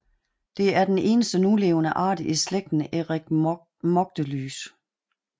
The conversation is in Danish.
Det er den eneste nulevende art i slægten Eretmochelys